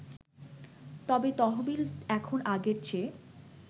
তবে তহবিল এখন আগের চেয়ে